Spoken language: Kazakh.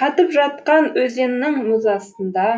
қатып жатқан өзеннің мұз астында